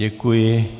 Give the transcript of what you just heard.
Děkuji.